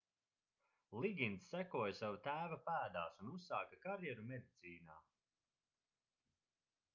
ligins sekoja sava tēva pēdās un uzsāka karjeru medicīnā